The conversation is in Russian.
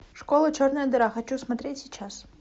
школа черная дыра хочу смотреть сейчас